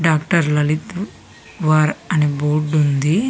Doctor Lalit వార్ అనే board ఉంది.